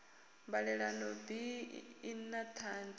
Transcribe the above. mbalelano bi i na tshadzhi